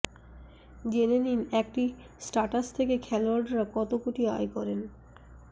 জেনে নিন একটি স্টাটাস থেকে খোলোয়াড়রা কত কোটি আয় করেন